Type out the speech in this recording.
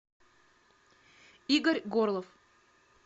игорь горлов